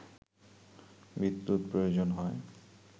বিদ্যুৎ প্রয়োজন হয়